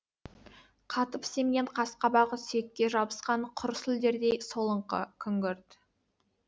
қатып семген қас қабағы сүйекке жабысқан құр сүлдердей солыңқы күңгірт